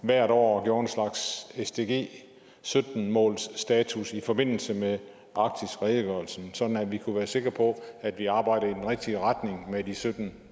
hvert år gjorde en slags sdg sytten målsstatus i forbindelse med arktisredegørelsen så vi kunne være sikre på at vi arbejder i den rigtige retning med de sytten